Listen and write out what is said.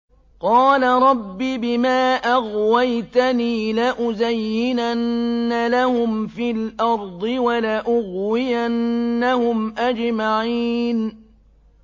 قَالَ رَبِّ بِمَا أَغْوَيْتَنِي لَأُزَيِّنَنَّ لَهُمْ فِي الْأَرْضِ وَلَأُغْوِيَنَّهُمْ أَجْمَعِينَ